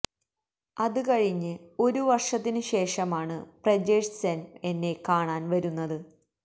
അത് കഴിഞ്ഞ് ഒരു വര്ഷത്തിന് ശേഷമാണ് പ്രജേഷ് സെന് എന്നെ കാണാന് വരുന്നത്